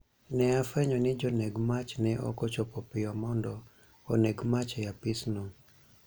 ne afwenyo ni joneg mach ne ok ochopo piyo mondo oneg mach e apisno